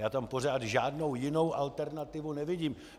Já tam pořád žádnou jinou alternativu nevidím.